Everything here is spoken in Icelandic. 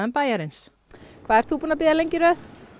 bæjarins hvað ert þú búinn að bíða lengi í röð